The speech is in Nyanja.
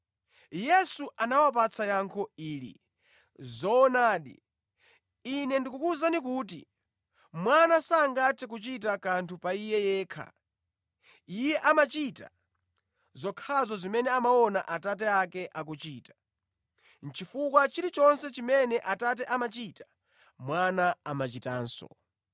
Yesu anawapatsa yankho ili: “Zoonadi, Ine ndikukuwuzani kuti Mwana sangathe kuchita kanthu pa Iye yekha. Iye amachita zokhazo zimene amaona Atate ake akuchita, chifukwa chilichonse chimene Atate amachita Mwana amachitanso.